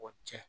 O cɛn